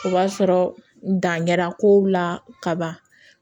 O b'a sɔrɔ dan kɛra kow la ka ban